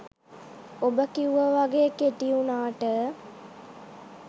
ඔබ කිව්ව වගේ කෙටි වුනාට